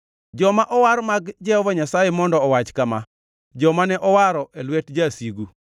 Joma owar mag Jehova Nyasaye mondo owach kama joma ne owaro e lwet jasigu,